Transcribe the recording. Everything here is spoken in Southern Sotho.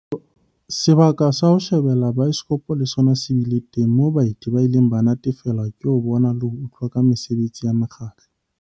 Sebaka sa ho shebella baesekopo le sona se bile teng moo baeti ba ileng ba natefelwa ke ho bona le ho utlwa ka mesebetsi ya mokgatlo.